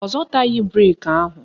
Ọ zọtaghị breki ahụ